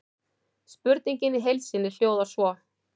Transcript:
Spurningin í heild sinni hljóðar svo: